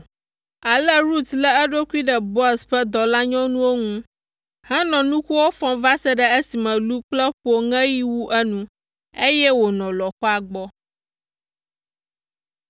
Ale Rut lé eɖokui ɖe Boaz ƒe dɔlanyɔnuwo ŋu henɔ nukuwo fɔm va se ɖe esime lu kple ƒo ŋeɣi wu enu, eye wònɔ lɔ̃xoa gbɔ.